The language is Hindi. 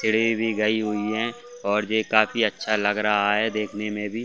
सीढ़ी भी गई हुई है और जे काफी अच्छा लग रहा है देखने में भी --